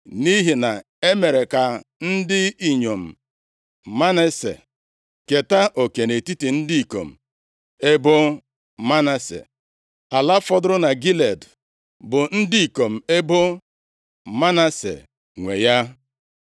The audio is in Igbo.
nʼihi na e mere ka ndị inyom Manase keta oke nʼetiti ndị ikom ebo Manase. Ala fọdụrụ na Gilead bụ ndị ikom ebo Manase nwe ya.